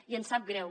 i ens sap greu